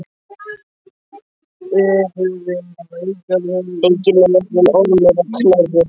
Enginn er verri en Ormur á Knerri.